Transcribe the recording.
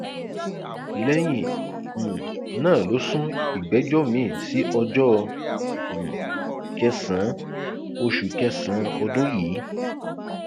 lẹyìn um náà ló sún ìgbẹjọ miín sí ọjọ um kẹsànán oṣù kẹsànán ọdún yìí